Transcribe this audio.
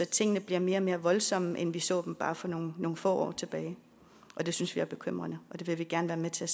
tingene bliver mere og mere voldsomme end vi så dem bare for nogle få år tilbage og det synes vi er bekymrende det vil vi gerne være med til